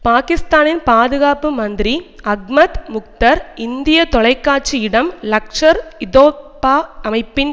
பாக்கிஸ்தானின் பாதுகாப்பு மந்திரி அஹ்மத் முக்தர் இந்திய தொலைக்காட்சி இடம் லஷ்கர்இதொய்பா அமைப்பின்